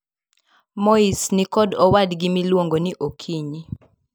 Moise nikod owadgi miluongo ni Okinyi.